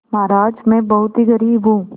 महाराज में बहुत ही गरीब हूँ